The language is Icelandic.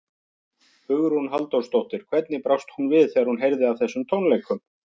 Hugrún Halldórsdóttir: Hvernig brást hún við þegar hún heyrði af þessum tónleikum?